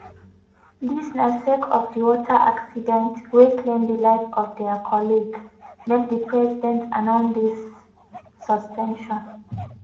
dis na sake of di water accident wey claim di life of dia colleague make di president announce dis new suspension.